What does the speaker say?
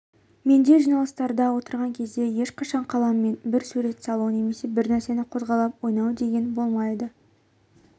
менде жиналыстарда отырған кезде ешқашан қаламмен бір сурет салу немесе бір нәрсені қозғалтып ойнау деген болмайды